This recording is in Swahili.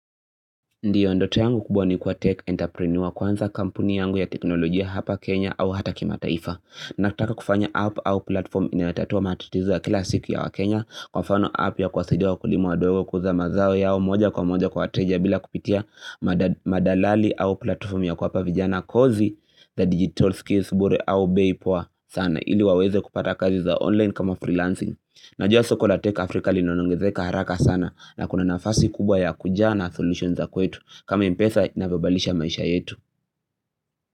Ndio ndoto yangu kubwa ni kuwa tech enterpreneur kwanza kampuni yangu ya teknolojia hapa Kenya au hata kimataifa. Nataka kufanya app au platform inayotatua matatizo ya kila siku ya waKenya kwa mfano app ya kuwasidia wakulima wadogo kuuza mazao yao moja kwa moja kwa wateja bila kupitia madalali au platform ya kuwapa vijana kozi za digital skills bure au bei poa sana ili waweze kupata kazi za online kama freelancing. Najua soko la tech Africa linaongezeka haraka sana na kuna nafasi kubwa ya kujaa na solutions za kwetu kama m-pesa inavyobadilisha maisha yetu.